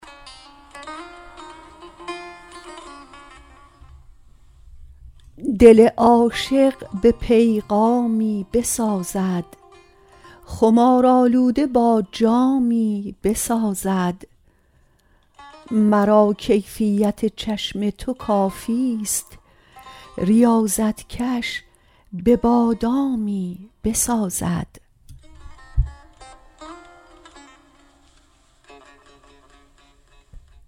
دل عاشق به پیغامی بسازد خمار آلوده با جامی بسازد مرا کیفیت چشم تو کافیست ریاضت کش به بادامی بسازد